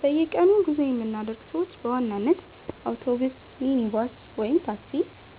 በየቀኑ ጉዞ የምናደርግ ሰዎች በዋናነት አውቶቡስ፣ ሚኒባስ (ታክሲ)